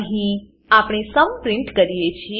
અહીં આપણે સુમ સમ પ્રીંટ કરીએ છીએ